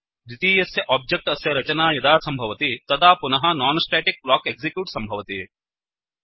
द्वितीयस्य ओब्जेक्ट् अस्य रचना यदा सम्भवति तदा पुनः non स्टेटिक ब्लॉक एक्सिक्यूट् सम्भवति